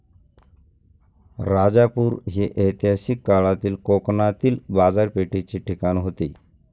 राजापूर हे ऐतिहासिक काळातील कोकणातील बाजारपेठेचे ठिकाण होते.